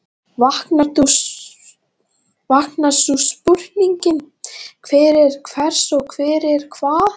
Vaknar sú spurning, hver er hvers og hvers er hvað?